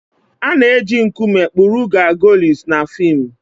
A na-eji nkume kpụrụ Gargoyles na fim.